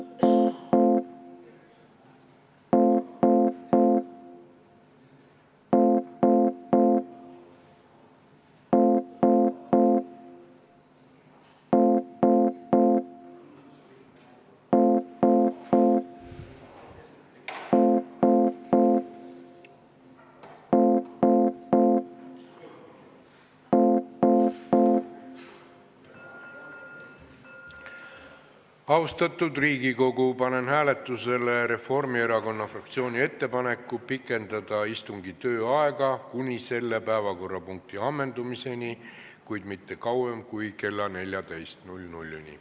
Austatud Riigikogu, panen hääletusele Reformierakonna fraktsiooni ettepaneku pikendada istungi tööaega kuni selle päevakorrapunkti ammendumiseni, kuid mitte kauem kui kella 14-ni.